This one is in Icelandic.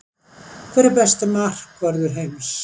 Hver er besti markvörður heims?